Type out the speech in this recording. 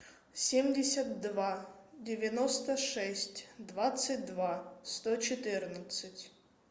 семьдесят два девяносто шесть двадцать два сто четырнадцать